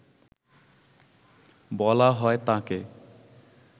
বলা হয় তাঁকে